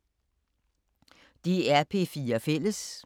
DR P4 Fælles